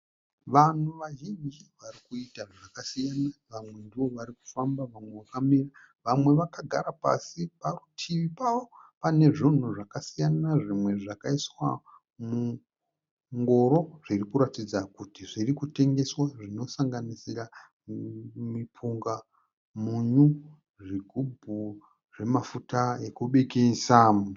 Vanhu vazhinji vari kuita zvakasiyana. Vamwe ndivo vari kufamba, vamwe vakamira , vamwe vakagara pasi. Parutivi pavo pane zvunhu zvakasiyana zvimwe zvakaiswa mungoro zviri kuratidza kuti zviri kutengeswa zvinosanganisira mipunga, munyu, zvigubhu zvemafuta ekubikisa.